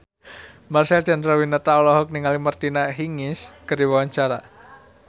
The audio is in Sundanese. Marcel Chandrawinata olohok ningali Martina Hingis keur diwawancara